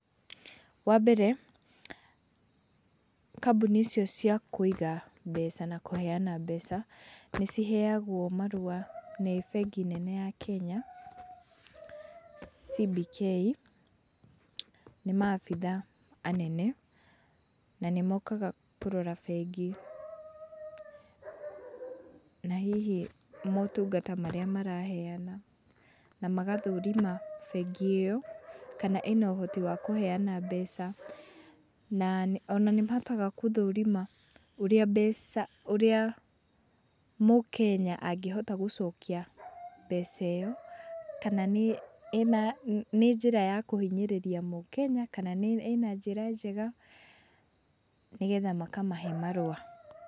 Wambere kambũni icio cia kũiga, mbeca na kũheana mbeca, nĩciheagũo marũa, nĩ bengi nene ya Kenya, CBK, nĩ maabitha anene na nĩmokaga kũrora bengi, na hihi motungata marĩa maraheana, na magathũrima bengi ĩyo, kana ĩna ũhoti wa kũheana mbeca, na ona nĩmahotaga gũthũrima ũrĩa mbeca, ũrĩaa Mũkenya angĩhota gũcokia mbeca ĩyo, kana nĩ ĩna nĩ njĩra ya kũhinyĩrĩria Mũkenya, kana ĩna njĩra njega, nĩgetha makamahe marũa.